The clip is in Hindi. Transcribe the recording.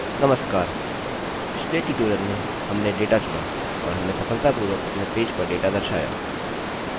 नमस्कार! पिछले ट्यूटोरियल में हमने डेटा चुना और हमने सफलतापूर्वक अपने पेज पर डेटा दर्शाया